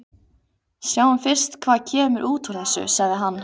Sjáum fyrst hvað kemur út úr þessu, sagði hann.